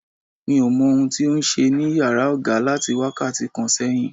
Mi ò mọ ohun tí ó ń ṣe ní yàrá oga láti wákàtí kan sẹ́yìn.